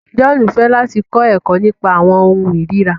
John fẹ láti kọ ẹkọ nípa awọn ohùn irira